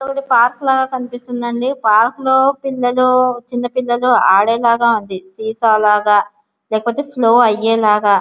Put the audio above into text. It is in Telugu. ఇది పార్క్ లాగా కనిపిస్తుంది అండి. పార్క్ లో పిల్లలు చిన్న పిల్లలు ఆడే లాగా వుంది. సీసా లాగా లేకుంటే ఫ్లో ఆయె లాగా --